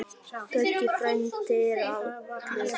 Böggi frændi er allur.